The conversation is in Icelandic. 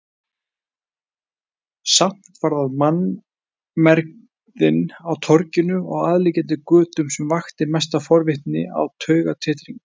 Samt var það mannmergðin á torginu og aðliggjandi götum sem vakti mesta forvitni og taugatitring.